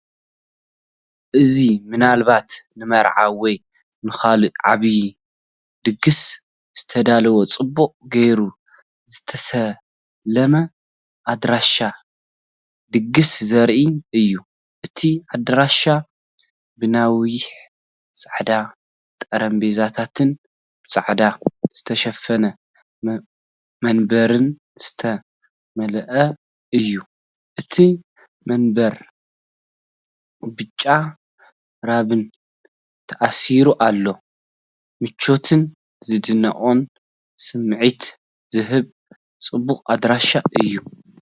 እዚ ምናልባት ንመርዓ ወይ ንኻልእ ዓቢ ድግስ ዝተዳለወ ጽቡቕ ጌሩ ዝተሰለመ ኣዳራሽ ድግስ ዘርኢ እዩ። እቲኣዳራሽ ብነዊሕ ጻዕዳ ጠረጴዛታትን ብጻዕዳ ዝተሸፈነ መንበርን ዝተመልአ እዩ። እተን መንበር ብጫ ሪባን ተኣሲሩ ኣሎ። ምቾትን ዝድነቕን ስምዒት ዝህብ ጽቡቕ ኣዳራሽ እዩ።